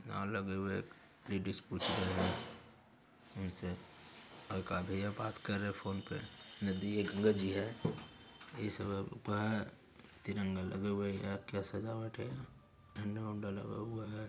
यह भाषा मेरी नहीं है मुझे समझ नहीं आ रही है।